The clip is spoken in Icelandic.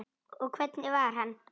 Og hvernig var hann?